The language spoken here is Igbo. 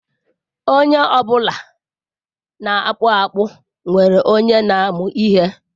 Onye ọ bụla na-akpụ akpụ nwere onye na-amụ ihe.